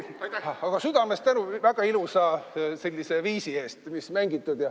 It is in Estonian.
Aga südamest tänu väga ilusa sellise viisi eest, mis mängitud.